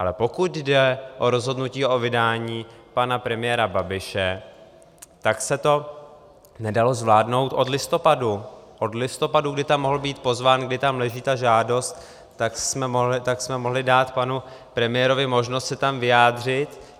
Ale pokud jde o rozhodnutí o vydání pana premiéra Babiše, tak se to nedalo zvládnout od listopadu, od listopadu!, kdy tam mohl být pozván, kdy tam leží ta žádost, tak jsme mohli dát panu premiérovi možnost se tam vyjádřit.